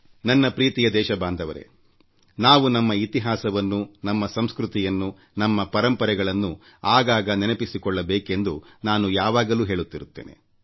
ನನ್ನ ಪ್ರಿಯ ದೇಶ ವಾಸಿಗಳೇ ನಾವು ನಮ್ಮ ಇತಿಹಾಸವನ್ನು ನಮ್ಮ ಸಂಸ್ಕೃತಿಯನ್ನುನಮ್ಮ ಪರಂಪರೆಗಳನ್ನು ಆಗಾಗ ನೆನಪಿಸಿಕೊಳ್ಳಬೇಕೆಂದು ನಾನು ಯಾವಾಗಲೂ ಹೇಳುತ್ತಿರುತ್ತೇನೆ